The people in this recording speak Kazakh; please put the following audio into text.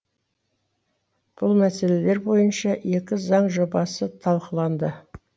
бұл мәселелер бойынша екі заң жобасы талқыланды